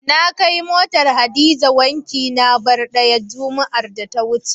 Na kai motar Hadiza wanki na bai ɗaya, juma'ar da ta wuce.